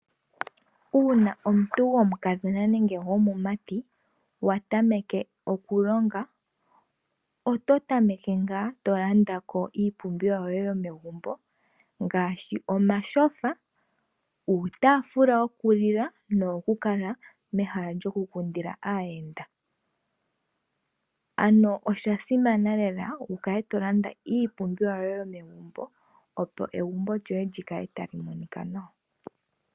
Uuna omuntu gomukadhona nenge gomumati wa tameke okulonga. Oto tameke ngaa to landa ko iipumbiwa yoye yomegumbo ngaashi; omashofa, uutafula wokulila, osho wo woku kala mehala lyoku kundila aayenda. Osha simana lela oku landa iipumbiwa yoye yomegumbo, opo egumbo lyoye lyi kale tali monika nawa.